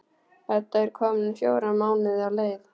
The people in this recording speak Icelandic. Edda er komin fjóra mánuði á leið.